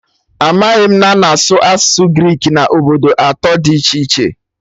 Amaghị m na a na-asụ asụsụ Greek na obodo atọ dị iche iche